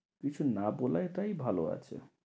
কিছু না বলাটাই ভালো আছে।